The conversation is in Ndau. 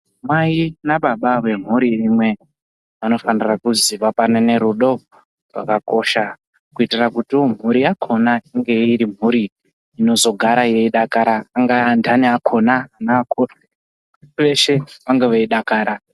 Mai nababa vemhuri imwe vanofanire kuzivapanane rudo zvakakosha kuitira kuti mhuri yakhona inge iri mhuri inozogara yeidakara angaa anthani akhona neakuru ese vange veidakara.